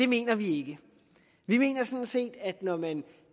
mener vi mener sådan set at når man